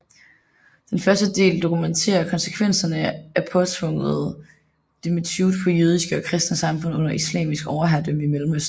Den første del dokumenterer konsekvenserne af påtvunget dhimmitude på jødiske og kristne samfund under islamisk overherredømme i Mellemøsten